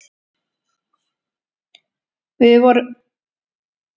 Við vorum mun sterkari aðilinn í seinni hálfleik.